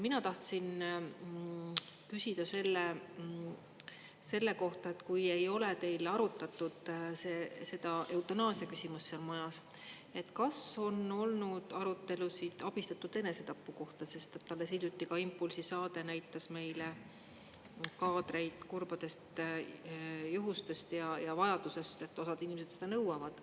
Mina tahtsin küsida selle kohta, et kui ei ole teil arutatud seda eutanaasia küsimust seal majas, kas on olnud arutelusid abistatud enesetapu kohta, sest alles hiljuti ka "Impulsi" saade näitas meile kaadreid kurbadest juhustest ja vajadusest, et osad inimesed seda nõuavad.